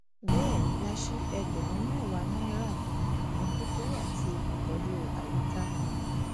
bẹẹ la sì ẹgbẹrún mẹwàá náírà fún ìmọtótó àti ìtọjú àyíká